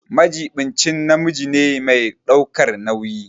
Majiɓinci namiji ne mai ɗaukar nauyi.